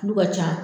Tulu ka ca